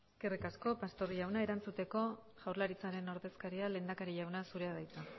eskerrik asko pastor jauna erantzuteko jaurlaritzaren ordezkariak lehendakari jauna zurea da hitza